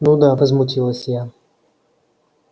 ну да возмутилась я